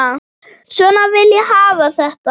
Svona vil ég hafa þetta.